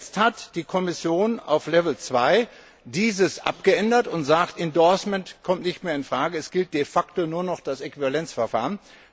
Jetzt hat die Kommission auf level 2 dies abgeändert und sagt endorsement kommt nicht mehr in Frage, es gilt de facto nur noch das Äquivalenzverfahren.